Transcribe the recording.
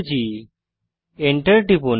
Enter টিপুন